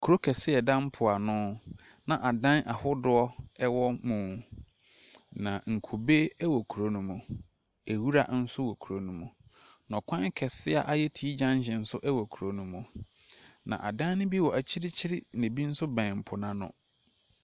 Kuro kaseɛ a ɛda mpoano na adan ahodoɔ wɔ mu. Na nkube wɔ kuro no mu. Nwura nso wɔ kuro no mu. Na kwan kɛseɛ a ayɛ T junction nso wɔ kurop no mu. Na adan no bi wɔ akyirikyiri, na ɛbi nso bɛn po no ano.